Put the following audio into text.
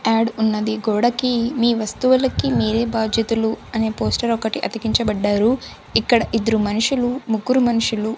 add ఉన్నది గోడ కి మీ వస్తువులకి మీరే బాధ్యతలు అనే పోస్టర్ ఒకటి అతికించబడ్డారు ఇక్కడ ఇద్దరు మనుషులు ముగ్గురు మన్షులు--